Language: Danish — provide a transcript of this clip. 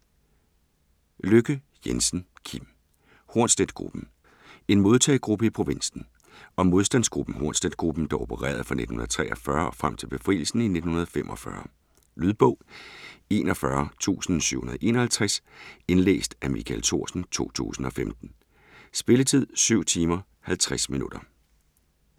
Lykke Jensen, Kim: Hornsletgruppen: en modtagegruppe i provinsen Om modstandsgruppen Hornsletgruppen, der opererede fra 1943 og frem til befrielsen i 1945. Lydbog 41751 Indlæst af Michael Thorsen, 2015. Spilletid: 7 timer, 50 minutter.